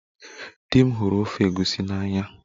Di m hụrụ ofe egusi n'anya